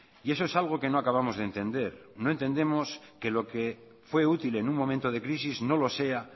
y eso es algo que no acabamos de entender no entendemos que lo que fue útil en un momento de crisis no lo sea